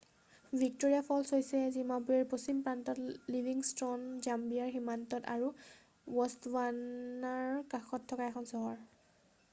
Victoria Falls হৈছে জিম্বাবোৱেৰ পশ্চিম প্ৰান্তত লিভিংষ্ট'ন জাম্বিয়াৰ সীমান্তত আৰু বষ্টৱানাৰ কাষত থকা এখন চহৰ